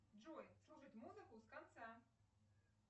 джой слушать музыку с конца